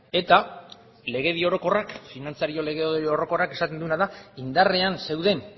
eta legedi orokorrak finantzario legedi orokorrak esaten duena da indarrean zeuden